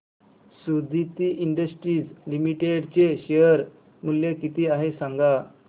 Suditi Industries Limited चे share मूल्य किती आहे सांगा